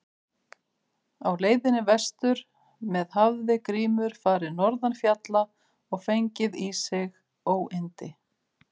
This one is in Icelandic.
Á leiðinni vestur með hafði Grímur farið norðan fjalla og fengið í sig óyndi.